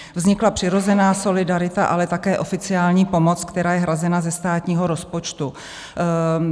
Vznikla přirozená solidarita, ale také oficiální pomoc, která je hrazena ze státního rozpočtu.